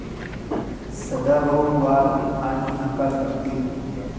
सदाभाऊ, वाद आणि हकालपट्टी